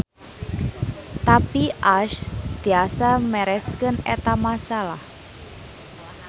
Tapi Ash tiasa mereskeun eta masalah.